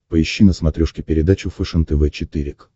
поищи на смотрешке передачу фэшен тв четыре к